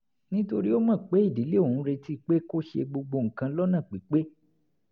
nítorí ó mọ̀ pé ìdílé òun ń retí pé kó ṣe gbogbo nǹkan lọ́nà pípé